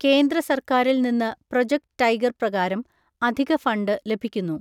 കേന്ദ്ര സർക്കാരിൽ നിന്ന് പ്രോജക്ട് ടൈഗർ പ്രകാരം അധിക ഫണ്ട് ലഭിക്കുന്നു.